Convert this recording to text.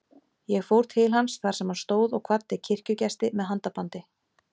Ég fór til hans þar sem hann stóð og kvaddi kirkjugesti með handabandi.